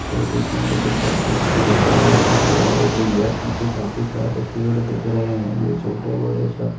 पर देखेंगे तो काफी अच्छी झालर जैसे सजावट हुई है पीछे काफी सारे पेड़ दिख रहे हैं छोटे मोटे सब।